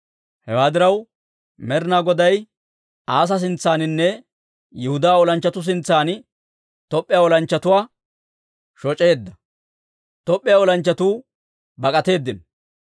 Hewaa diraw, Med'inaa Goday Asa sintsaaninne Yihudaa olanchchatuu sintsan Top'p'iyaa olanchchatuwaa shoc'eedda; Top'p'iyaa olanchchatuu bak'atteedino.